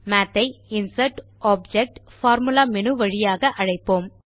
மாத் ஐ இன்சர்ட்க்டோப்ஜெக்ட்பார்பார்முலா மேனு வழியாக அழைப்போம்